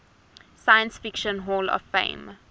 science fiction hall of fame